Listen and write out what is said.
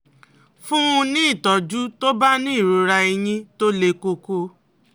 Fún un ní ìtọ́jú tó bá ní ìrora eyín tó le koko